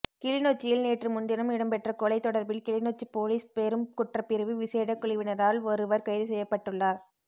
கிளிநொச்சியில் நேற்று முன்தினம் இடம்பெற்ற கொலை தொடர்பில் கிளிநொச்சி பொலிஸ் பெரும் குற்றப்பிரிவு விசேட குழுவினரால் ஒருவர் கைதுசெய்யப்பட்டுள்ளார்